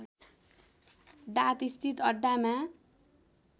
डात स्थित अड्डामा